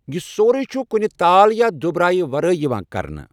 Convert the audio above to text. یہِ سورِی چھُ کُنہِ تال یا دُبرٕہارَے ورٲے یِوان کرنہٕ۔